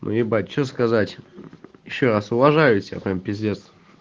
не ебать что сказать ещё раз уважаю тебя прям пиздец